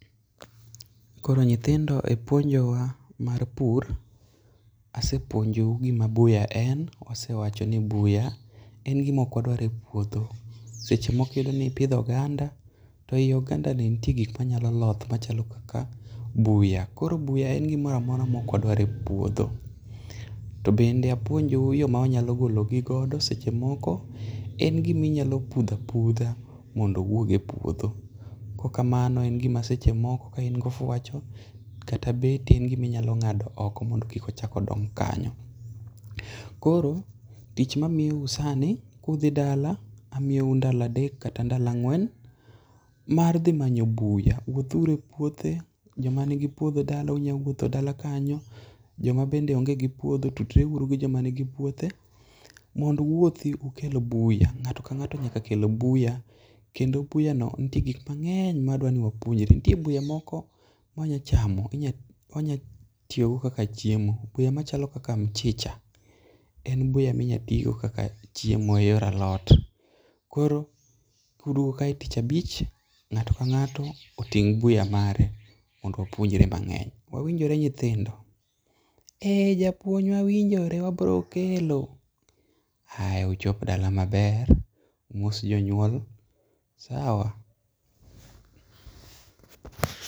Koro nyithindo e puonjo wa mar pur asepuonjou gima buya en wasewacho ni buya en gima ok wadwar e puodho. Seche moko iyudo nipidho oganda to ei oganda ni ntie gik manyalo loth machalo kaka buya koro buya en gimoramora mokwa dwa e puodho. To bende apuonjou yoo mwanyalo golo gi godo seche moko en gima inyalo pudha pudha mondo owuog e pouodho, kok kamano en gimseche moko ka in gofwacho kata beti en giminyalo ng'ado oko mondo kik ochak odong kanyo . Koro tich mwamiyo u sani kudhi dala amiyou ndala adek kata ndala ang'wen mar dhi manyo buya wuothuru e puothe joma nigi puodho dala unyalo wuothe dala kanyo joma bende onge gi puodho tudre uru kod joma nigi puothe mondo uwuothi ukel buya ng'ato ka ng'ato nyaka kel buya kendo buya no ntie gik mang'eny mwadwa ni wapuonjre. Nitie buya moko mwanya chamo wanya tiyo go kaka chjiemo buya buya machalo kak mchicha en chiemo minyalo tigo kaka chiemo mar alot .Koro kuduogo kae tich abich to ng'ato ka ng'ato oting' buya mare mondo wapuonjre go mang'eny wawinjore nyithindo ? E japuonj wawinjore wabro kelo aya uchop dla maber umos jonyuol sawa .